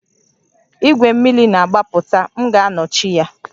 Igwe mmiri na-agbapụta, m ga-anọchi ya